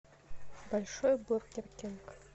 большой бургер кинг